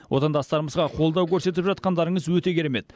отандастарымызға қолдау көрсетіп жатқандарыңыз өте керемет